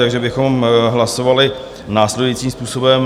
Takže bychom hlasovali následujícím způsobem.